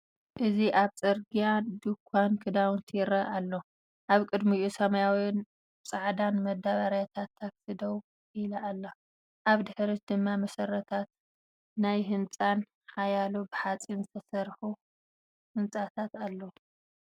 እዚ ኣብ ጽርግያ ድኳን ክዳውንቲ ይርአ ኣሎ፡ ኣብ ቅድሚኡ ሰማያውን ጻዕዳን መዳበርያታት ታክሲ ደው ኢላ ኣላ፡ ኣብ ድሕሪት ድማ መሰረታት ናይ ሓደ ህንጻን ሓያሎ ብሓጺን ዝተሰርሑ ህንጻታትን ኣለዉ።